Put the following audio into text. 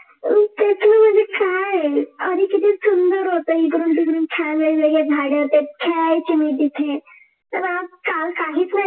तेच ना म्हणजे काय आहे आधी किती सुंदर होत इकडून तिकडून छान वेगवेगळे झाड त्यात खेळायची मी तिथे तर आजकाल काहीच नाही.